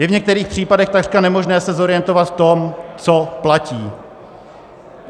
Je v některých případech takřka nemožné se zorientovat v tom, co platí.